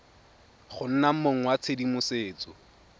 go nna mong wa tshedimosetso